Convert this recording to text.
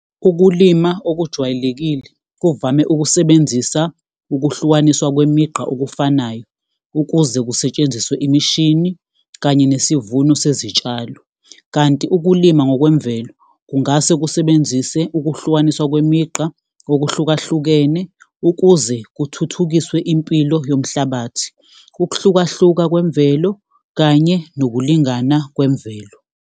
Ukulima okujwayelekile kuvame ukusebenzisa ukuhlukaniswa kwemigaqo okufanayo ukuze kusetshenziswe imishini kanye nesivuno sezitshalo, kanti ukulima ngokwemvelo kungase kusebenzise ukuhlukaniswa kwemigqa okuhlukahlukene ukuze kuthuthukiswe impilo yomhlabathi, ukuhlukahluka kwemvelo kanye nokulingana kwemvelo.